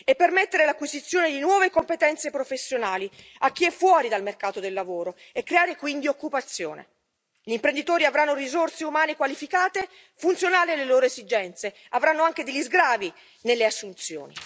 permettere l'acquisizione di nuove competenze professionali a chi è fuori dal mercato del lavoro e creare quindi occupazione. Gli imprenditori avranno risorse umane qualificate funzionali alle loro esigenze, avranno anche degli sgravi dalle assunzioni